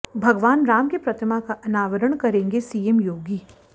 भगवान राम की प्रतिमा का अनावरण करेंगे सीएम योगी